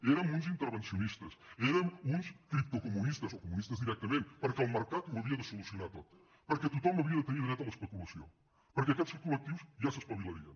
érem uns intervencionistes érem uns criptocomunistes o comunistes directament perquè el mercat ho havia de solucionar tot perquè tothom havia de tenir dret a l’especulació perquè aquests col·lectius ja s’espavilarien